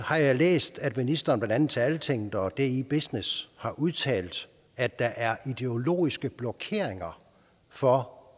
har jeg læst at ministeren blandt andet til altinget og di business har udtalt at der er ideologiske blokeringer for